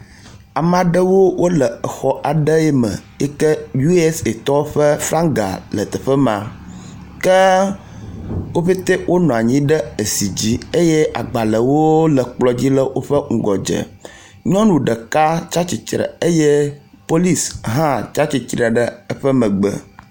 Ame aɖewo wo le exɔ aɖewo me yi ke USAtɔwo ƒe flaga le teƒe ma ke wo pɛtɛ wonɔ anyi ɖe ezi dzi eye agbalewo nɔ anyi ɖe woƒe ŋgɔdze. Nyɔnu ɖeka tsi atsitre eye polisi hã tsi atsitre eƒe megbe.